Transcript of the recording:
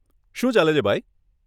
શું ચાલે છે ભાઈ?